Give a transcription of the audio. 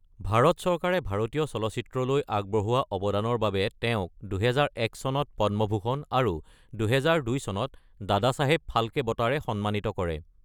ভাৰত চৰকাৰে ভাৰতীয় চলচ্চিত্ৰলৈ আগবঢ়োৱা অৱদানৰ বাবে তেওঁক ২০০১ চনত পদ্মভূষণ আৰু ২০০২ চনত দাদাচাহেব ফাল্কে বঁটাৰে সন্মানিত কৰে।